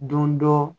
Don dɔ